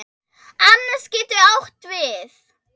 Annes getur átt við